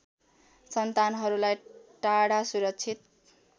सन्तानहरुलाई टाढा सुरक्षित